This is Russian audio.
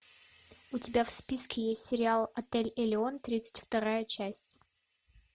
у тебя в списке есть сериал отель элеон тридцать вторая часть